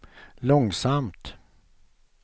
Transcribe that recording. långsamt